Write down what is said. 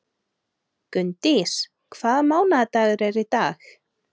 Gunndís, hvaða mánaðardagur er í dag?